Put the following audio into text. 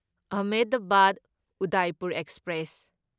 Ahmedabad Udaipur express